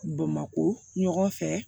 Bamakɔ ɲɔgɔn fɛ